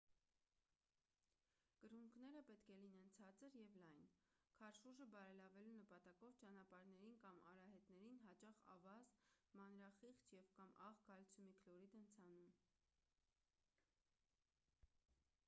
կրունկները պետք է լինեն ցածր և լայն: քարշուժը բարելավելու նպատակով ճանապարհներին կամ արահետներին հաճախ ավազ մանրախիճ կամ աղ կալցիումի քլորիդ են ցանում: